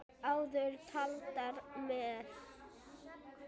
Áður taldar með